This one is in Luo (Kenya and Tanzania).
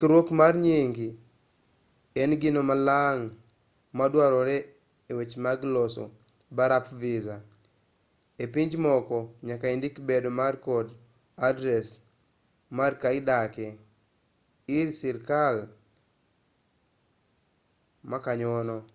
ndikruok mar nying en gino malang' maduarore e weche mag loso barup visa ei pinje moko nyaka indik bedo mari kod adres mar kama idake ir sirkal ma kanyono